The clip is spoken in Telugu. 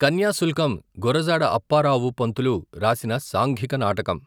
కన్యాశుల్కం గురజాడ అప్పారావు పంతులు రాసిన సాంఘిక నాటకం.